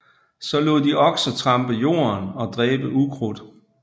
Så lod de okser trampe jorden og dræbe ukrudt